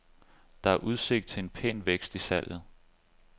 Der er udsigt til en pæn vækst i salget.